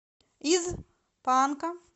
из панка